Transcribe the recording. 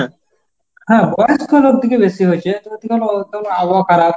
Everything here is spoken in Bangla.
হ্যাঁ বয়স্ক লোক দিকে বেশি হয়েছে যদিও আবহাওয়া খারাপ।